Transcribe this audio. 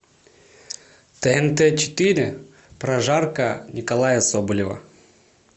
тнт четыре прожарка николая соболева